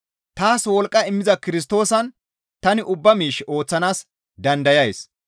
Taas wolqqa immiza Kirstoosan tani ubba miish ooththanaas dandayays.